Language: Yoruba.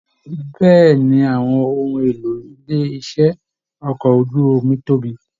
Bẹ̀ẹ́ni, àwọn ohùn ìlò ilé iṣẹ okọ̀ ojú omi tóbi.